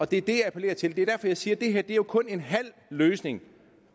det er det jeg appellerer til det er derfor jeg siger at det her jo kun er en halv løsning